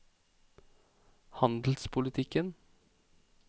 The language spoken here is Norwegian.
handelspolitikken